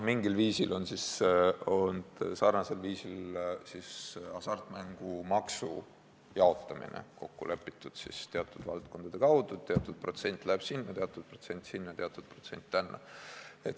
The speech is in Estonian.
Mingil sarnasel viisil on hasartmängumaksu jaotamine kokku lepitud teatud valdkondade kaudu, teatud protsent läheb sinna, teatud protsent sinna ja teatud protsent tänna.